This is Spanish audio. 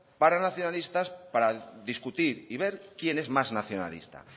para nacionalistas para discutir y ver quién es más nacionalista